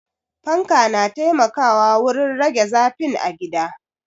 Fanka na taimakawa wurin rage zafin a gida.